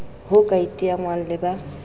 ho ka iteangwang le ba